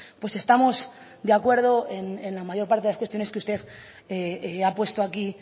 pues estamos de acuerdo en la mayor parte de las cuestiones que usted ha puesto aquí